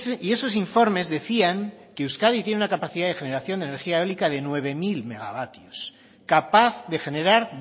y esos informes decían que euskadi tiene una capacidad de generación de energía eólica de nueve mil megavatios capaz de generar